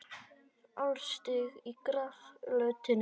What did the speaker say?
Álstigi á grasflötinni.